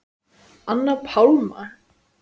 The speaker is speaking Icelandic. Anna Pálma.